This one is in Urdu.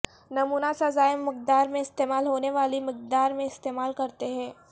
نمونہ سزائے مقدار میں استعمال ہونے والی مقدار میں استعمال کرتے ہیں